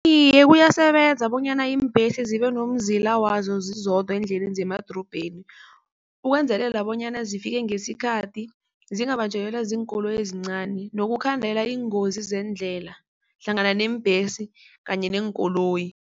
Iye, kuyasebenza bonyana iimbesi zibenomzila wazo zizodwa eendleleni zemadorobheni ukwenzelela bonyana zifike ngesikhathi, zingabanjelelwa ziinkoloyi ezincani, nokukhandela iingozi zeendlela hlangana neembhesi kanye neenkoloyi.